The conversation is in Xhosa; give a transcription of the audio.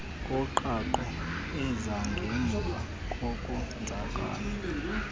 koqhaqho ezangemva kokonzakala